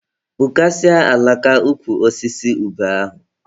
Gbukasịa alaka ukwu osisi ube ahụ!